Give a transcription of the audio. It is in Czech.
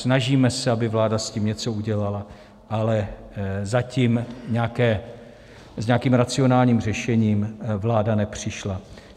Snažíme se, aby vláda s tím něco udělala, ale zatím s nějakým racionálním řešením vláda nepřišla.